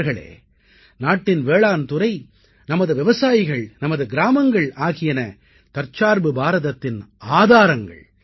நண்பர்களே நாட்டின் வேளாண்துறை நமது விவசாயிகள் நமது கிராமங்கள் ஆகியன தற்சார்பு பாரதத்தின் ஆதாரங்கள்